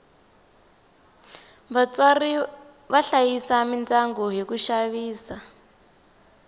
vatswari va hlayisa midyangu hi ku xavisa